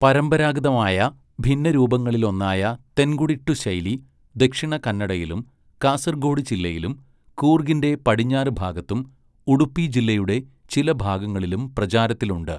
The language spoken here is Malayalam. പരമ്പരാഗതമായ ഭിന്നരൂപങ്ങളിലൊന്നായ തെൻകുടിട്ടു ശൈലി, ദക്ഷിണകന്നഡയിലും, കാസർഗോഡ് ജില്ലയിലും, കൂർഗിൻ്റെ പടിഞ്ഞാറുഭാഗത്തും, ഉഡുപ്പിജില്ലയുടെ ചില ഭാഗങ്ങളിലും പ്രചാരത്തിലുണ്ട്.